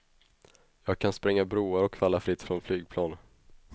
Jag kan spränga broar och falla fritt från flygplan.